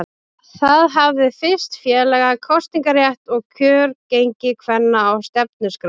Það hafði fyrst félaga kosningarétt og kjörgengi kvenna á stefnuskrá.